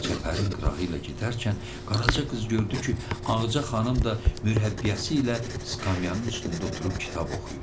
Çəpərin qırağı ilə gedərkən Qaraca qız gördü ki, Ağaca xanım da mürəbbiyəsi ilə skamyannın üstündə oturub kitab oxuyur.